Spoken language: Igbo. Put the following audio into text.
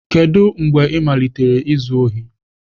Kedu mgbe ị malitere izu ohi?